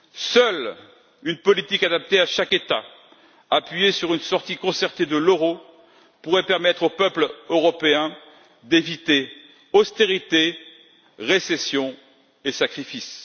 Seule une politique adaptée à chaque État, appuyée sur une sortie concertée de l'euro, pourrait permettre aux peuples européens d'éviter austérité, récession et sacrifice.